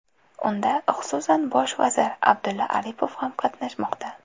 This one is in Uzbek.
Unda, xususan, bosh vazir Abdulla Aripov ham qatnashmoqda.